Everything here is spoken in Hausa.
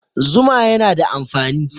Zuma yana da amfani